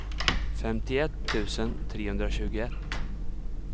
femtioett tusen trehundratjugoett